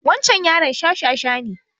Wancan yaron shashasha ne